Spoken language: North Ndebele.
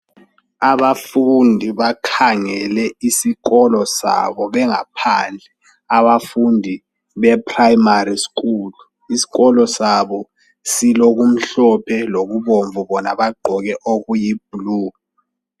Abafundi bakhangele isikolo sabo bengaphandle, abafundi be primary school iskolo sabo silokumhlophe lokubomvu bona bagqoke okuyi blue.